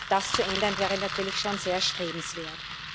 Das zu ändern, wäre natürlich schon sehr erstrebenswert.